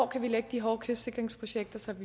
kan lægge de hårde kystsikringsprojekter så